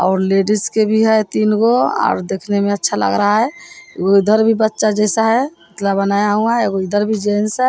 और लेडिस के भी है तीनगो और दिखने में अच्छा लग रहा है एगो इधर भी बच्चा जैसा है पुतला बनाया हुआ है एगो इधर भी जेंट्स है ।